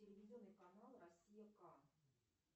телевизионный канал россия к